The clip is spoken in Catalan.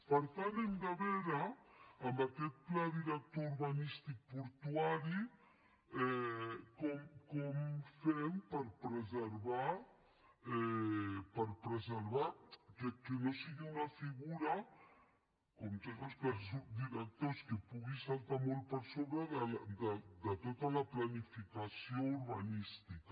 per tant hem de veure amb aquest pla director urbanístic portuari com fem per preservar que no sigui una figura com tots els plans directors que pugui saltar molt per sobre de tota la planificació urbanística